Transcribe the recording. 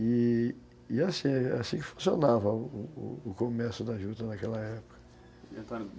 E assim assim que funcionava o comércio da juta naquela época